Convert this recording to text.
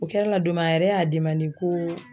O kɛra la don min a yɛrɛ y'a ko